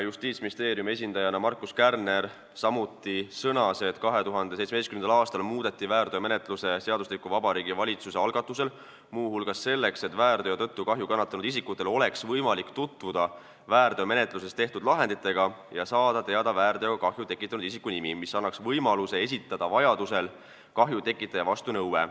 Justiitsministeeriumi esindaja Markus Kärner sõnas, et 2017. aastal muudeti väärteomenetluse seadustikku Vabariigi Valitsuse algatusel, muu hulgas selleks, et väärteo tõttu kahju kannatanud isikutel oleks võimalik tutvuda väärteomenetluses tehtud lahenditega ja saada teada kahju tekitanud isiku nimi, sest see annaks võimaluse esitada vajaduse korral kahju tekitaja vastu nõue.